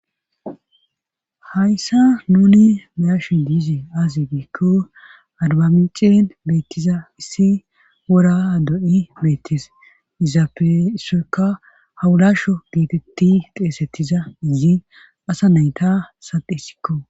Hayssa nuni meyasho diizi aaze biikko adbamicen beettiza issi wora ado7i beettes izappessoyka hawulasho geetetti xeesettiza izi asa nayta sade isikko